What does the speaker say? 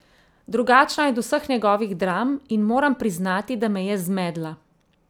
Drugačna je od vseh njegovih dram in moram priznati, da me je zmedla.